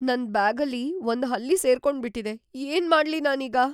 ನನ್ ಬ್ಯಾಗಲ್ಲಿ ಒಂದ್ ಹಲ್ಲಿ ಸೇರ್ಕೊಂಬಿಟಿದೆ. ಏನ್‌ ಮಾಡ್ಲಿ ನಾನೀಗ?